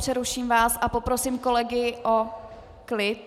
Přeruším vás a poprosím kolegy o klid.